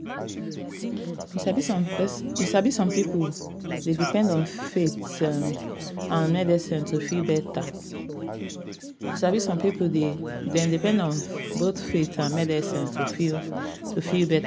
you sabi some people dey um depend on both faith um and medicine um to feel better